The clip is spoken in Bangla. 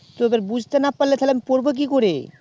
তো এবার বুঝতে না পারলে তাহলে আমি পড়বো কি করে